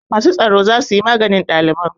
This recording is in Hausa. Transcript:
Masu tsaro za su yi maganin ɗaliban.